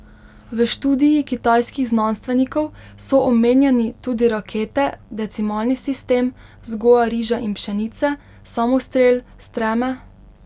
V študiji kitajskih znanstvenikov so omenjeni tudi rakete, decimalni sistem, vzgoja riža in pšenice, samostrel, streme...